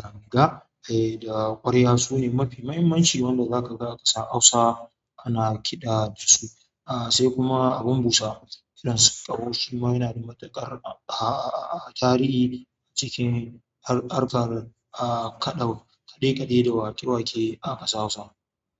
ganga, eh da ƙwarya su ne mafi muhimmanci wanda za ka ga a ƙasa Hausa ana kiɗa da su. Ah sai kuma abin busa irin tkaho shi ma yana da matuƙar ah ah ah tarihi cikin harkar ah kaɗau kaɗe-kaɗe da wake-wake a ƙasa Hausa.